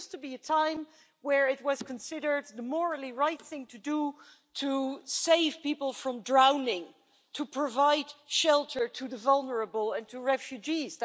There used to be a time where it was considered the morally right thing to do to save people from drowning and to provide shelter to the vulnerable and to refugees.